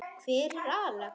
Hver er Axel?